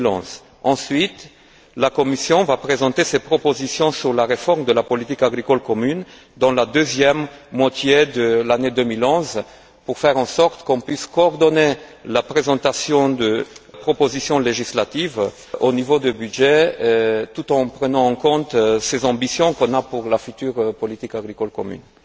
2011. Ensuite, la Commission présentera ses propositions sur la réforme de la politique agricole commune dans la seconde moitié de l'année 2011 pour faire en sorte qu'on puisse coordonner la présentation de propositions législatives au niveau du budget tout en prenant en compte nos ambitions pour la future politique agricole commune.